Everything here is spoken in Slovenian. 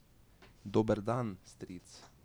Dober dan, stric ...